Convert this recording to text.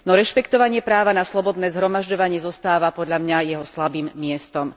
No rešpektovanie práva na slobodné zhromažďovanie zostáva podľa mňa jeho slabým miestom.